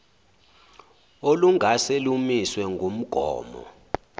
olungase lumiswe ngumgomo